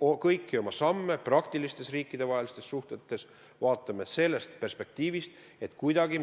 Kõiki oma samme praktilistes riikidevahelistes suhetes vaatame selle perspektiiviga, et me kuidagi